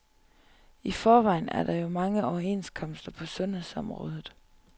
I forvejen er der jo mange overenskomster på sundhedsområdet.